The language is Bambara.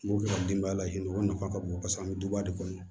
N b'o kɛ ka denbaya lahinɛ o nafa ka bon paseke an bɛ duba de kɔnɔ